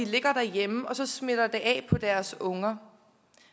ligger derhjemme og så smitter det af på deres unger